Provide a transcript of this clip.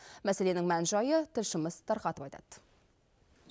мәселенің мән жайы тілшіміз тарқатып айтады